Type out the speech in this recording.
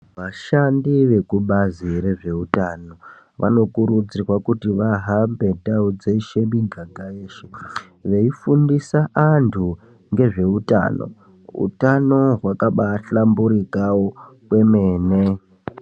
Vashandi vekubazi rezvehutano vanokurudzirwa kuti vahambe ndau dzeshe mumiganga yeshe veifundisa vantu ngezvehutano, hutano hwakahlumburikawo kwemene.